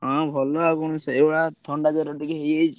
ହଁ ଭଲ ଆଉ କଣ ସେଇଭଳିଆ ଥଣ୍ଡା ଜର ଟିକେ ହେଇଯାଇଛି।